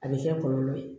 A bɛ kɛ kɔlɔlɔ ye